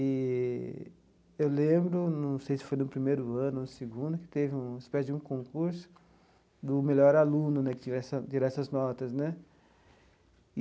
Eee eu lembro, não sei se foi no primeiro ano ou no segundo, que teve um uma espécie de um concurso do melhor aluno né que tivesse essa tivesse essas notas.